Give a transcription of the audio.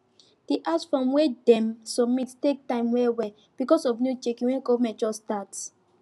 the house form wey dem submit take time wellwell because of new checking wey government just start